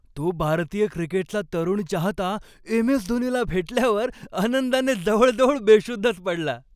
तो भारतीय क्रिकेटचा तरुण चाहता एम.एस.धोनीला भेटल्यावर आनंदाने जवळजवळ बेशुद्धच पडला.